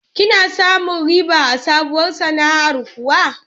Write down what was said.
Kina samun riba a sabuwar sana'ar kiwo?